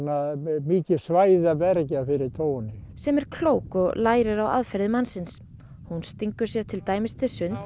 mikið svæði að verja fyrir tófunni sem er klók og lærir á aðferðir mannsins hún stingur sér til dæmis til sunds